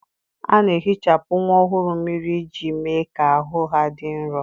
A na-ehichapụ nwa ọhụrụ mmiri iji mee ka ahụ ha dị nro.